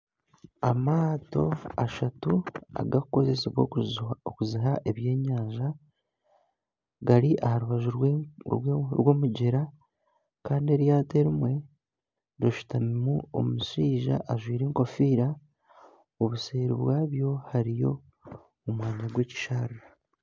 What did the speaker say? Amaato ashatu agarikukoresibwa okukwata ebyenyanja gari aha rubaju rw'omugyera kandi eryato erimwe rishutamimu omushaija ajwire enkofiira obuseeri bwaryo hariyo omwanya gw'ekisharara